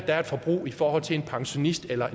er et forbrug i forhold til er pensionist eller